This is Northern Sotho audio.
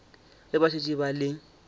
ge ba šetše ba le